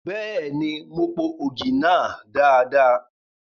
Bẹ́ẹ̀ni, mo po ògì náà dada.